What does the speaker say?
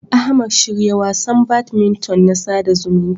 Ahmad, shirya wasan badminton na sada zumunci.